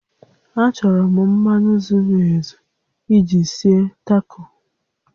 Achọrọ m mmanụ zuru ezu iji sie Taco